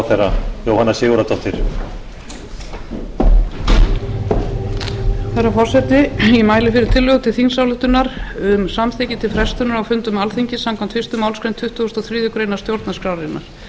herra forseti ég mæli fyrir tillögu til þingsályktunar um samþykki til frestunar á fundum alþingis samkvæmt fyrstu málsgrein tuttugustu og þriðju grein stjórnarskrárinnar